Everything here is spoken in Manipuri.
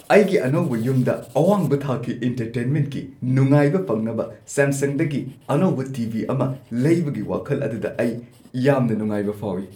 ꯑꯩꯒꯤ ꯑꯅꯧꯕ ꯌꯨꯝꯗ ꯑꯋꯥꯡꯕ ꯊꯥꯛꯀꯤ ꯢꯟꯇꯔꯇꯦꯟꯃꯦꯟꯠꯀꯤ ꯅꯨꯡꯉꯥꯏꯕ ꯐꯪꯅꯕ ꯁꯦꯝꯁꯪꯗꯒꯤ ꯑꯅꯧꯕ ꯇꯤ. ꯚꯤ. ꯑꯃ ꯂꯩꯕꯒꯤ ꯋꯥꯈꯜ ꯑꯗꯨꯗ ꯑꯩ ꯌꯥꯝꯅ ꯅꯨꯡꯉꯥꯏꯕ ꯐꯥꯎꯏ꯫